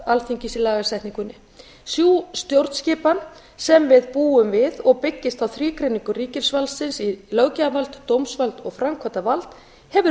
alþingis í lagasetningunni sú stjórnskipan sem við búum við og byggist á þrígreiningu ríkisvaldsins í löggjafarvald dómsvald og framkvæmdarvald hefur